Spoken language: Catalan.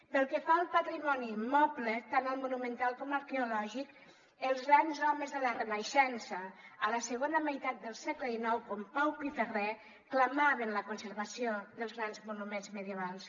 pel que fa al patrimoni immoble tant el monumental com l’arqueològic els grans homes de la renaixença a la segona meitat del segle xix com pau piferrer clamaven la conservació dels grans monuments medievals